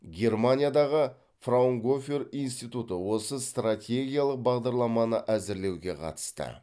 германиядағы фраунгофер институты осы стратегиялық бағдарламаны әзірлеуге қатысты